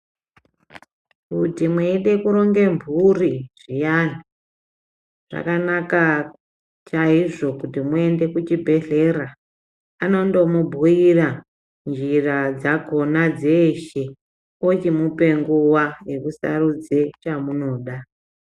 Kuti mweide kuronge mhuri zviyani zvakanaka chaizvo kuti muende kuchibhehlera anondomubhuyira njira dzakona dzeshe ochimupe nguwa yekusarudze chamunoda.